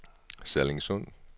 Sallingsund